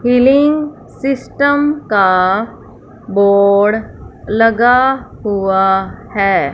Feeling system का board लगा हुआ है।